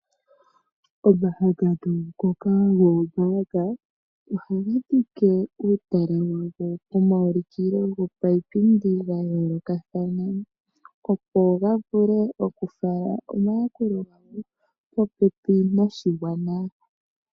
Omahangano ngoka goombanga ohaga dhike uutala wawo pomaulukilo gapaipindi ga yoolokathana, opo ga vule okufala omayakulo gawo popepi noshigwana.